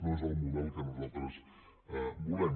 no és el model que nosaltres volem